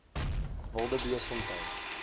wildebeestfontein